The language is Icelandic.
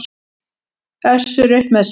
Össur upp með sér.